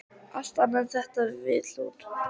Allt annað en þetta vill hún.